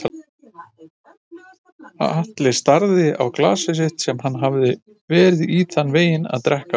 Alli starði á glasið sitt sem hann hafði verið í þann veginn að drekka úr.